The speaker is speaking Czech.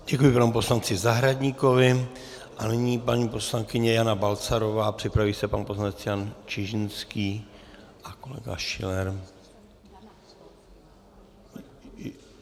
Děkuji panu poslanci Zahradníkovi a nyní paní poslankyně Jana Balcarová, připraví se pan poslanec Jan Čižinský a kolega Schiller.